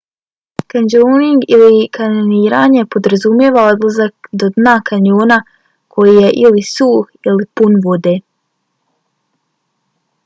kanjoning ili: kanjoniranje podrazumijeva odlazak do dna kanjona koji je ili suh ili pun vode